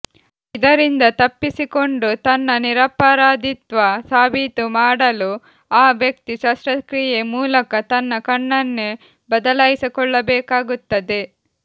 ಇದರಿಂದ ತಪ್ಪಿಸಿಕೊಂಡು ತನ್ನ ನಿರಪರಾಧಿತ್ವ ಸಾಬೀತು ಮಾಡಲು ಆ ವ್ಯಕ್ತಿ ಶಸ್ತ್ರಕ್ರಿಯೆ ಮೂಲಕ ತನ್ನ ಕಣ್ಣನ್ನೇ ಬದಲಾಯಿಸಿಕೊಳ್ಳಬೇಕಾಗುತ್ತದೆ